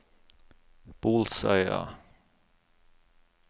Bolsøya